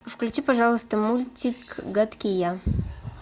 включи пожалуйста мультик гадкий я